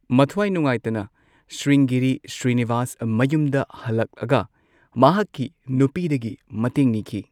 ꯃꯊ꯭ꯋꯥꯏ ꯅꯨꯉꯥꯏꯇꯅ ꯁ꯭ꯔꯤꯡꯒꯦꯔꯤ ꯁ꯭ꯔꯤꯅꯤꯕꯥꯁ ꯃꯌꯨꯝꯗ ꯍꯂꯛꯑꯒ ꯃꯍꯥꯛꯀꯤ ꯅꯨꯄꯤꯗꯒꯤ ꯃꯇꯦꯡ ꯅꯤꯈꯤ꯫